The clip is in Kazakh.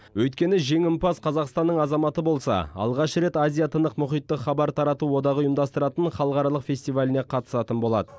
өйткені жеңімпаз қазақстанның азаматы болса алғаш рет азия тынық мұхиттық хабар тарату одағы ұйымдастыратын халықаралық фестиваліне қатысатын болады